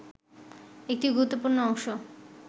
একটি গুরুত্বপূর্ণ অংশ